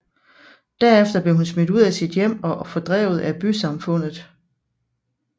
Derefter blev hun smidt ud af sit hjem og fordrevet af bysamfundet